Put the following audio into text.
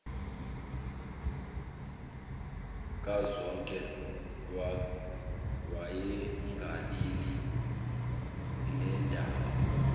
kazonke wayengalali nendaba